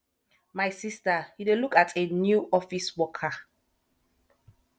my sister you dey look at a new office worker